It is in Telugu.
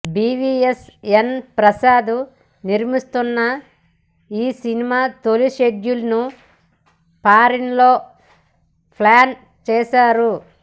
బీవీఎస్ ఎన్ ప్రసాద్ నిర్మిస్తోన్న ఈ సినిమా తొలి షెడ్యూల్ ను ఫారిన్ లో ప్లాన్ చేశారు